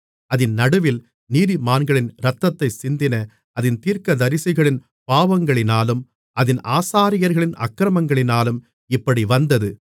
அதின் நடுவில் நீதிமான்களின் இரத்தத்தைச் சிந்தின அதின் தீர்க்கதரிசிகளின் பாவங்களினாலும் அதின் ஆசாரியர்களின் அக்கிரமங்களினாலும் இப்படி வந்தது